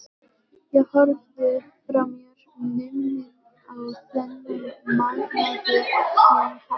Ég horfði frá mér numinn á þennan magnaða hljómkassa.